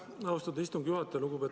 Aitäh, austatud istungi juhataja!